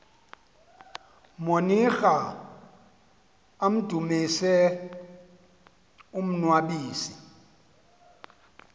monira amdumise umnnwabisi